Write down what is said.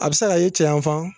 A bɛ se ka ye cɛyafan